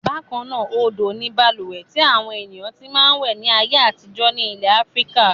Bákan náà, odò ni balùwẹ̀ tí àwọn ènìyàn ti máa ń wẹ̀ ní ayé àtijọ́ ní ilẹ̀ Áfíríkà.